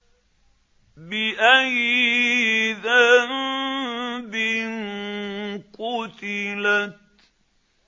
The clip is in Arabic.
بِأَيِّ ذَنبٍ قُتِلَتْ